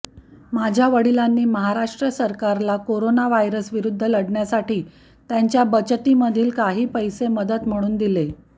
माझ्या वडिलांनी महाराष्ट्र सरकारला करोना व्हायरस विरुद्ध लढण्यासाठी त्यांच्या बचतीमधील काही पैसे मदत म्हणून दिले